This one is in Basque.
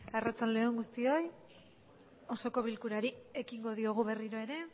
arratsalde on guztioi osoko bilkurari iekingo diogu berriro ere